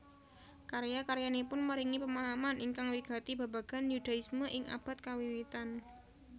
Karya karyanipun maringi pemahaman ingkang wigati babagan Yudaisme ing abad kawiwitan